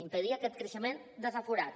impedir aquest creixement desaforat